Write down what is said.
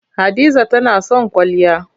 Hadiza tana son kwalliya.